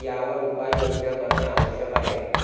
यावर उपाययोजना करणे आवश्यक आहे.